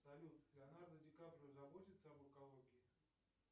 салют леонардо ди каприо заботится об экологии